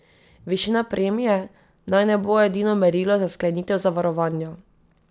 Višina premije naj ne bo edino merilo za sklenitev zavarovanja.